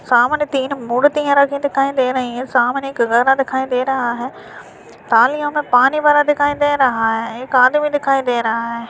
सामने तीन मुर्तिया रखी दिखाई दे रही हैं सामने एक घर दिखाई दे रहा है थालियों में पानी भरा दिखाई दे रहा है एक आदमी दिखाई दे रहा है।